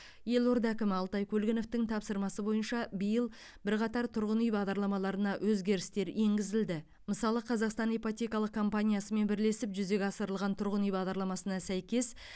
елорда әкімі алтай көлгіновтің тапсырмасы бойынша биыл бірқатар тұрғын үй бағдарламаларына өзгерістер енгізілді мысалы қазақстан ипотекалық компаниясымен бірлесіп жүзеге асырылған тұрғын үй бағдарламасына сәйкес